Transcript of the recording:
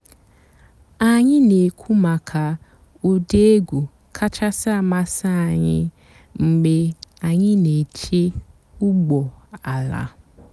ányị́ nà-èkwú màkà ụ́dị́ ègwú kàchàsị́ àmásị́ ànyị́ mg̀bé ànyị́ nà-èché ụ́gbọ́ àlà.